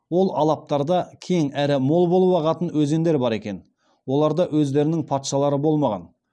ол алаптарда кең әрі мол болып ағатын өзендер бар екен оларда өздерінің патшалары болмаған